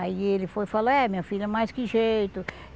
Aí ele foi e falou, é, minha filha, mas que jeito.